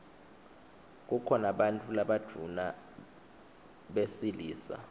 kukhona bantfu labadvuna besilisa